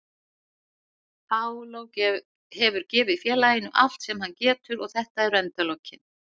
Paulo hefur gefið félaginu allt sem hann getur og þetta eru endalokin.